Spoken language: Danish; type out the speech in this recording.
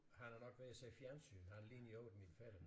Han er nok ved at se fjernsyn han ligner i øvrigt min fætter